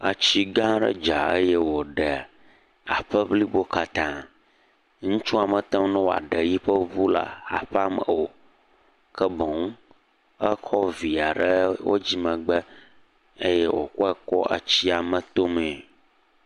Tsi gã aɖe dza eye wòɖe aƒe blibo katã, ŋutsua mete ne wòaɖe yiƒe ŋu la aƒea me o, ke boŋ ekɔ via ɖe wò dzimegbe eye wòkɔe kɔ etsia me tome.